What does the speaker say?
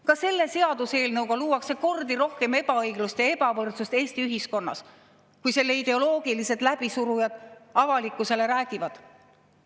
Ka selle seaduseelnõuga luuakse kordi rohkem ebaõiglust ja ebavõrdsust Eesti ühiskonnas, kui selle ideoloogilised läbisurujad avalikkusele räägivad.